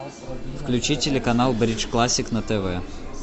включи телеканал бридж классик на тв